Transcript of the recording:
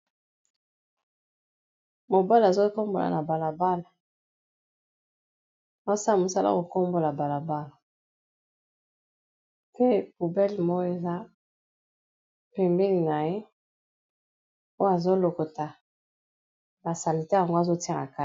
Mobali azo kombola na balabala azo sala mosala ko kombola balabala pe poubele moko eza pembeni na ye oyo azolokota ba salete yango azotia na kati.